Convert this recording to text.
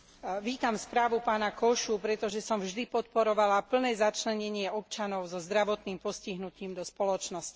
Vítam správu pána Kósu, pretože som vždy podporovala plné začlenenie občanov so zdravotným postihnutím do spoločnosti.